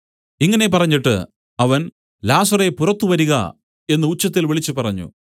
ഇങ്ങനെ പറഞ്ഞിട്ട് അവൻ ലാസറേ പുറത്തു വരിക എന്നു ഉച്ചത്തിൽ വിളിച്ചുപറഞ്ഞു